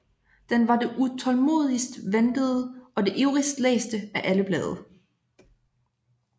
Den var det utålmodigst ventede og det ivrigst læste af alle blade